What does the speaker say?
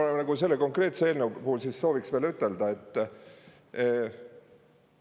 Ja mis ma selle konkreetse eelnõu puhul sooviks veel ütelda?